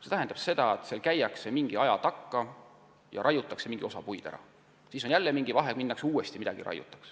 See tähendab seda, et metsas käiakse teatud aja tagant ja teatud osa puid raiutakse maha, seejärel peetakse vahet ja siis minnakse uuesti raiet tegema.